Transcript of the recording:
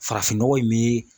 Farafin nɔgɔ in bɛ.